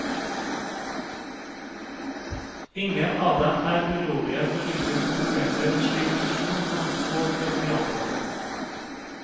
Ingen av dem er urolige for hvilke konsekvenser en slik fusjon kan få for de ansatte.